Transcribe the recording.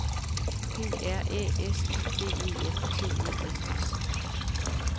P R Æ S I D E N T E N S